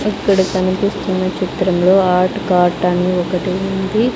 ఇక్కడ కనిపిస్తున్న చిత్రంలో హాట్ కాట్ అని ఒకటి ఉంది.